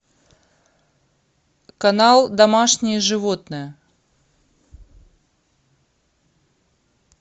канал домашние животные